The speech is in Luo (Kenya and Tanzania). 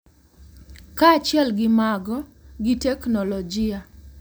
Kaachiel gi mago, gi teknolojia,